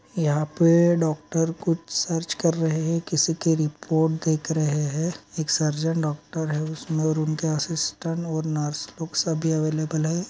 यहाँ पे डॉक्टर कुछ सर्च कर रहे हैं किसी की रिपोर्ट देख रहे हैं एक सर्जिन डॉक्टर हैं उसके असिस्टन्ट और नर्स लोग सब अवैलेबल हैं।